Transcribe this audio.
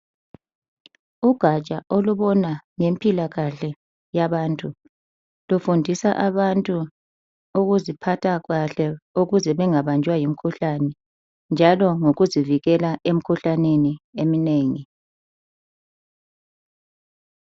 Ugatsha olubona ngempilakahle yabantu lufundisa abantu ukuziphatha kahle ukuze bengabanjwa yimikhuhlane njalo ngokuzivikela emkhuhlaneni eminengi.